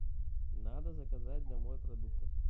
надо заказать домой продуктов